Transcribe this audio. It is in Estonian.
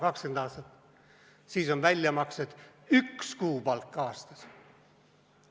20 aastat – siis on väljamaksed üks kuupalk aastas.